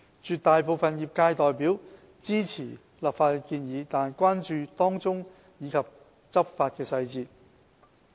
絕大部分業界代表支持立法的建議，但關注當中細節及執法詳情。